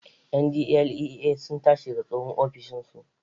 NDLEA sun tashi daga tsohon ofishin su